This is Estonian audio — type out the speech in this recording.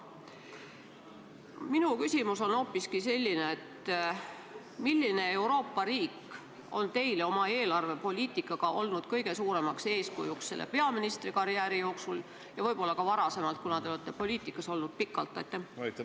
Minu küsimus on aga hoopiski selline: milline Euroopa riik on oma eelarvepoliitikaga olnud teile kõige suuremaks eeskujuks selle peaministrikarjääri jooksul – ja võib-olla ka varem, sest te olete poliitikas olnud pikalt?